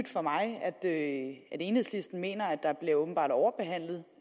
for mig at enhedslisten mener at der bliver overbehandlet